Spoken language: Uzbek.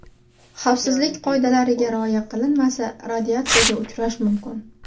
Xavfsizlik qoidalariga rioya qilinmasa, radiatsiyaga uchrash mumkin.